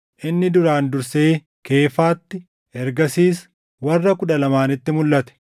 Inni duraan dursee Keefaatti, ergasiis warra Kudha Lamaanitti mulʼate.